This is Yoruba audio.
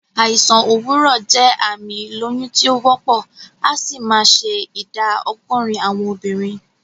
Àìsàn òwúrọ̀ jẹ́ àmì ìlóyún tí o wópò, asì ma se ìdá ogórín àwon obìrin